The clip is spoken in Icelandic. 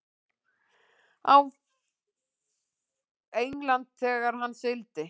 Englandi þegar hann sigldi.